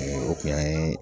O kun y'an ye